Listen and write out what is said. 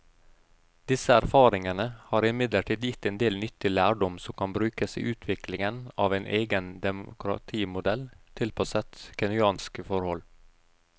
Disse erfaringene har imidlertid gitt en del nyttig lærdom som kan brukes i utviklingen av en egen demokratimodell tilpasset kenyanske forhold.